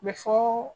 Bɛ fɔ